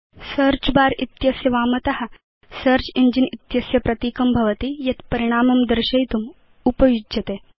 search bar इत्यस्य वामत search engine इत्यस्य प्रतीकं भवति यत् परिणामं दर्शयितुम् उपयुज्यते